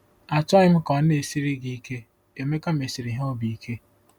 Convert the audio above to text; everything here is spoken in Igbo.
Achọghị m ka ọ na-esiri gị ike ,' Emeka mesiri ha obi ike.